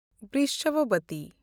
ᱵᱷᱨᱤᱥᱵᱷᱟᱵᱚᱛᱤ